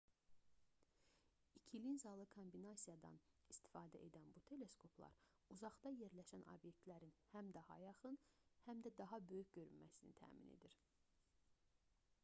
i̇ki linzalı kombinasiyadan istifadə edən bu teleskoplar uzaqda yerləşən obyektlərin həm daha yaxın həm də daha böyük görünməsini təmin edir